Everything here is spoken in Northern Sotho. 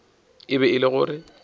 e be e le gore